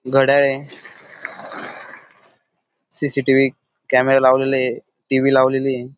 घड्याळ ए CCTV. Camera लावलेला ये टी.व्ही. लावलेली ए.